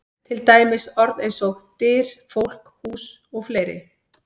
Til dæmis orð eins og: Dyr, fólk, hús og fleiri?